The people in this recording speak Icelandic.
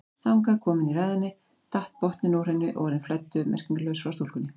Þangað komin í ræðunni datt botninn úr henni og orðin flæddu merkingarlaus frá stúlkunni.